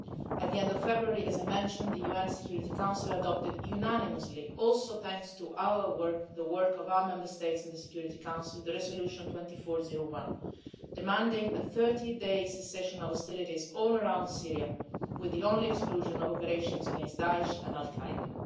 At the end of February, as I mentioned, the UN Security Council adopted unanimously, thanks also to our work, the work of our Member States in the Security Council, the Resolution 2401, demanding a 30-day cessation of hostilities all around Syria, with the only exception of operations against Daesh and al-Qaeda.